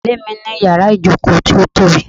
Ilé mi ní yàrá-ìjòkó ti o tobi